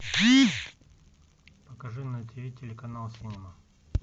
покажи на тиви телеканал синема